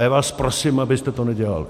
A já vás prosím, abyste to nedělali.